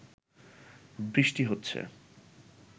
বৃষ্টি হচ্ছে